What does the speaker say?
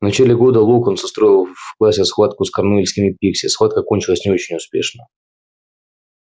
в начале года локонс устроил в классе схватку с корнуэльскими пикси схватка кончилась не очень успешно